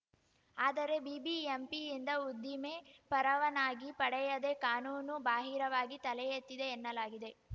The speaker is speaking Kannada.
ಆದರೆ ಬಿಬಿಎಂಪಿಯಿಂದ ಉದ್ದಿಮೆ ಪರವನಾಗಿ ಪಡೆಯದೆ ಕಾನೂನು ಬಾಹಿರವಾಗಿ ತಲೆ ಎತ್ತಿದೆ ಎನ್ನಲಾಗಿದೆ